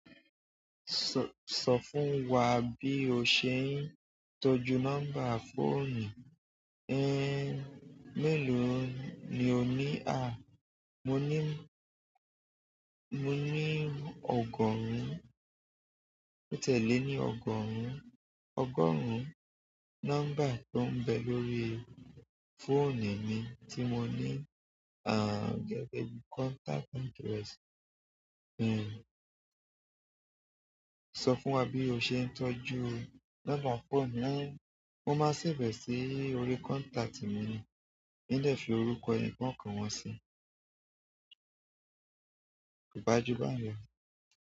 Sọ, sọ fún wa bí o ṣe ń tọ́jú nọ́mbà fóònù. Mélòó ni o ní? Mo ní, mo ní ọgọ́rùn-ún, ó tẹ́lẹ̀ ni ọgọ́rùn-ún, ọgọ́rùn-ún nọ́mbà tó ń bẹ lórí fóònù mi tí mo ní. Gẹ́gẹ́ bí contact address. Sọ fún wa bí o ṣe ń tọ́jú nọ́mbà fóònù. Mo máa save sí orí contact mi. In de fi orúkọ ẹni-kọọkan wọn sí. Ko ba ju báun lọ.